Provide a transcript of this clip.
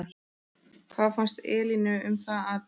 Hvað fannst Elínu um það atvik?